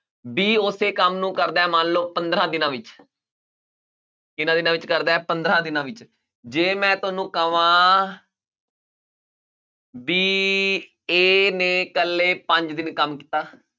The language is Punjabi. b ਉਸੇ ਕੰਮ ਨੂੰ ਕਰਦਾ ਹੈ ਮੰਨ ਲਓ ਪੰਦਰਾਂ ਦਿਨਾਂ ਵਿੱਚ ਕਿੰਨਾਂ ਦਿਨਾਂ ਵਿੱਚ ਕਰਦਾ ਹੈ ਪੰਦਰਾਂ ਦਿਨਾਂ ਵਿੱਚ ਜੇ ਮੈਂ ਤੁਹਾਨੂੰ ਕਵਾਂ ਵੀ a ਨੇ ਇਕੱਲੇ ਪੰਜ ਦਿਨ ਕੰਮ ਕੀਤਾ